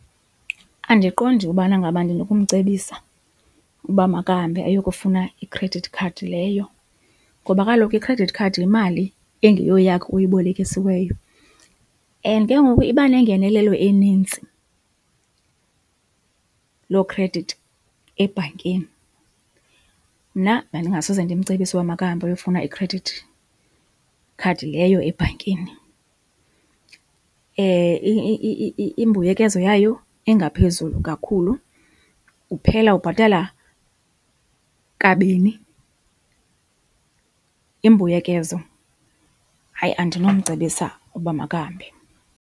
Andiqondi ubana ngaba ndinokumcebisa uba makahambe ayokufuna i-credit card leyo ngoba kaloku i-credit card yimali engeyoyakho oyibolekisiweyo and ke ngoku iba nengenelelo enintsi loo khredithi ebhankini. Mna bendingasoze ndimcebise ukuba makahambe ayofuna ikhredithi khadi leyo ebhankini. Imbuyekezo yayo ingaphezulu kakhulu, uphela ubhatala kabini imbuyekezo. Hayi, andinomcebisa ukuba makahambe.